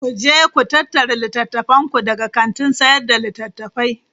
Ku je ku tattara littattafanku daga kantin sayar da littattafai!